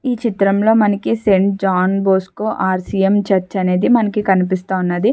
ఈ చిత్రం లో మనకి saint John Bosco R C M church అనేది మనకి కనిపిస్తా ఉన్నదీ.